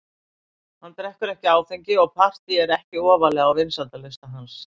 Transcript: Hann drekkur ekki áfengi og partý eru ekki ofarlega á vinsældarlista hans.